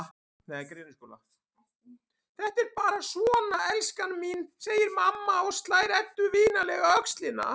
Þetta er bara svona, elskan mín, segir amma og slær Eddu vinalega á öxlina.